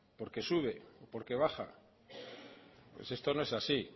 porque sube porque baja pues esto no es así